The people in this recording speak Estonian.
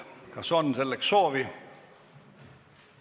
Kas on selleks soovi?